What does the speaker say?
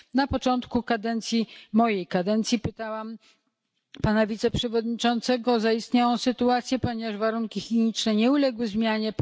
Na początku kadencji, mojej kadencji, pytałam pana wiceprzewodniczącego o zaistniałą sytuację ponieważ warunki higieniczne nie uległy zmianie.